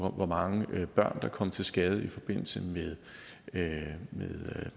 hvor mange børn der kom til skade i forbindelse med